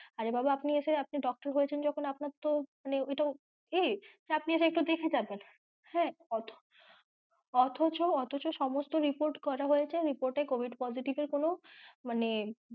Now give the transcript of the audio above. আরে বাবা আপনি এসে আপনি doctor হয়েছেন যখন আপনার তো মানে ওনার তো উচিৎ যে আপনি এসে দেখে যাবেন হ্যাঁ অথচ, অথচ সমস্ত report করা হয়েছে report এ covid positive এর কোনো মানে,